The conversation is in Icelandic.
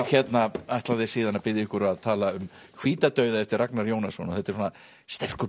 ætlaði síðan að biðja ykkur að tala um hvíta dauða eftir Ragnar Jónasson þetta er sterkur